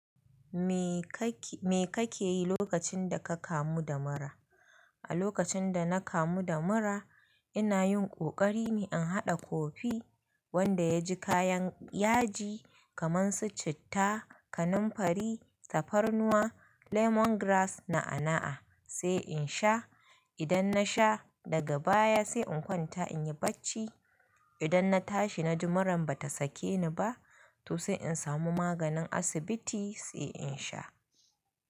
Me kake, me kake yi lokacin da ka kamu da mura? A lokacin da na kamu da mura, ina yin ƙoƙari ne in haɗa kofi wanda yaji kayan yaji kamar su citta, kanamfari, tafarnuwa, lemongrass na'a-na'a sai in sha. Idan na sha daga baya sai in kwanta in yi bacci. Idan na tashi na ji muran ba ta sake ni ba, to sai in samu maganin asibiti sai in sha.